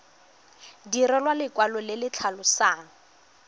direlwa lekwalo le le tlhalosang